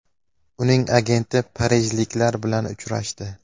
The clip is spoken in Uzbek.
Uning agenti parijliklar bilan uchrashdi.